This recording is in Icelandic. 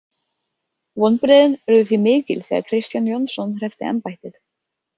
Vonbrigðin urðu því mikil þegar Kristján Jónsson hreppti embættið.